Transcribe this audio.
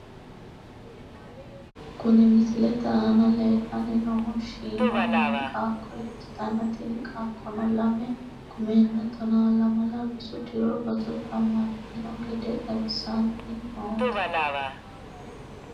Kuni misilete aana leellanni noohu shiima meya qaaqqo ikkitanna , tini qaaqqono lame kumenna tonaa lamala rosu diro roso jammartino gede xawissanni noote.